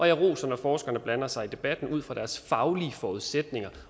jeg roser når forskerne blander sig i debatten ud fra deres faglige forudsætninger